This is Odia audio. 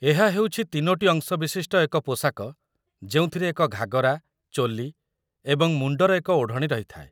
ଏହା ହେଉଛି ତିନୋଟି ଅଂଶବିଶିଷ୍ଟ ଏକ ପୋଷାକ ଯେଉଁଥିରେ ଏକ ଘାଗରା, ଚୋଲି ଏବଂ ମୁଣ୍ଡର ଏକ ଓଢ଼ଣୀ ରହିଥାଏ